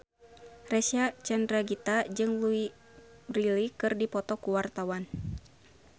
Reysa Chandragitta jeung Louise Brealey keur dipoto ku wartawan